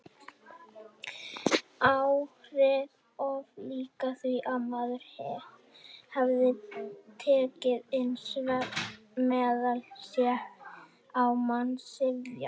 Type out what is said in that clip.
Áhrifin oft líkari því að maður hefði tekið inn svefnmeðal: sé á mann syfja.